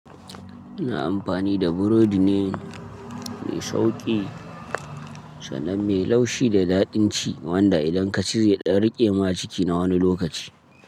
Ina amfani da burodi ne mai sauƙi, sannan mai laushi da daɗin ci wanda idan ka ci zai dan riƙe ma ciki na wani lokaci.